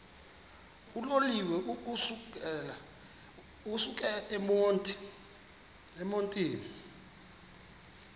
uloliwe ukusuk emontini